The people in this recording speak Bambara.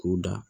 K'u da